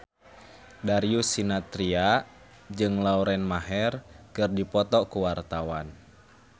Darius Sinathrya jeung Lauren Maher keur dipoto ku wartawan